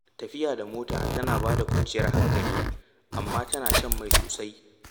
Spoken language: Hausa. Tafiya da mota tana ba da kwanciyar hankali, amma tana shan mai sosai.